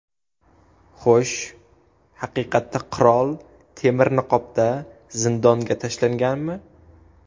Xo‘sh, haqiqatda qirol temir niqobda zindonga tashlanganmi?